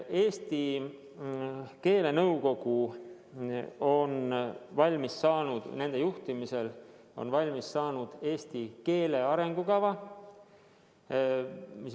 Eesti keelenõukogu juhtimisel on valmis saadud eesti keele arengukava.